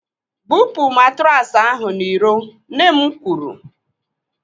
"Bupu matraasi ahụ n'iro," Nne m kwuru.